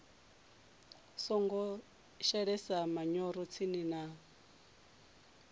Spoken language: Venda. songo shelesa manyoro tsini na